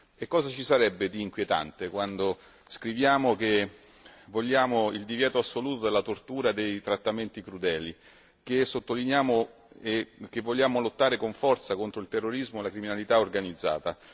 Che cosa ci sarebbe di inquietante quando scriviamo che vogliamo il divieto assoluto della tortura e dei trattamenti crudeli, quando sottolineiamo che vogliamo lottare con forza contro il terrorismo e la criminalità organizzata?